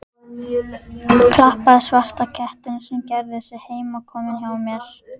Klappaði svarta kettinum sem gerði sig heimakominn hjá mér.